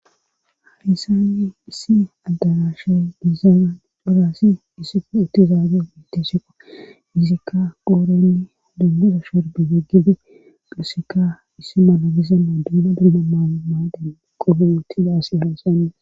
hadisanni issi addarashay biizana dhoraasi issiko uttizaage miiteshekko izikka qoorenni dunmuza shorbe geggibe luseka issi mala bizamma duuma dulla maamaaden qofo wootida asi haysana